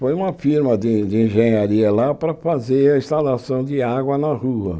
Foi uma firma de de engenharia lá para fazer a instalação de água na rua.